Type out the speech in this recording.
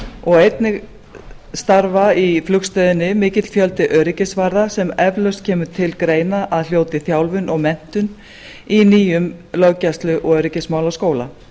og einnig starfar í flugstöðinni mikill fjöldi öryggisvarða sem eflaust kemur til greina að hljóti þjálfun og menntun í nýjum löggæslu og öryggismálaskóla